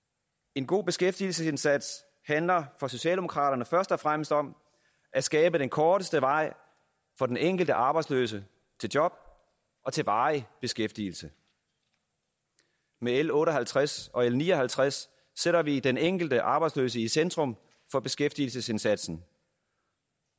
en god beskæftigelsesindsats handler for socialdemokraterne først og fremmest om at skabe den korteste vej for den enkelte arbejdsløse til job og til varig beskæftigelse med l otte og halvtreds og l ni og halvtreds sætter vi den enkelte arbejdsløse i centrum for beskæftigelsesindsatsen